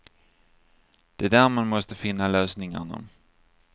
Det är där man måste finna lösningarna.